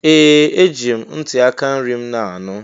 Ee! Eji m ntị aka nri m na-anụ.